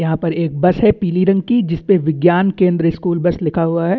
यहाँ पर एक बस है पिली रंग की जिसपे विज्ञान केंद्र स्कूल बस लिखा हुआ है।